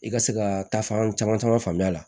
I ka se ka taa fan caman caman faamu a la